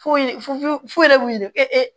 Foyi fu fu fu yɛrɛ b'u de kɛ ee